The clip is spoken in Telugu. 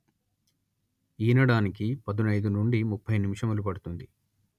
ఈనడానికి పదునయిదు నుండి ముప్పై నిమిషములు పడుతుంది